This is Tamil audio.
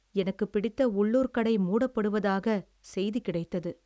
எனக்குப் பிடித்த உள்ளூர் கடை மூடப்படுவதாக செய்தி கிடைத்தது.